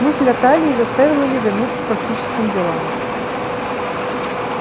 мысль о талии заставила её вернуться к практическим делам